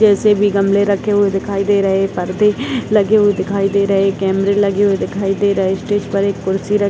जैसे भी गमले रखे हुए दिखाई दे रहे हैं परदे लगे हुए दिखाई दे रहे कैमरे लगे हुए दिखाई दे रहे हैं स्टेज पर एक कुर्सी --